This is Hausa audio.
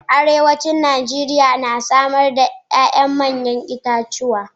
Arewacin Najeriya na samar da manyan 'ya'yan itatuwa